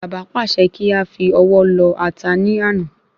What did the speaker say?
Bàbá pàṣẹ kí áfi ọwọ́ lọ̀ ata ní àná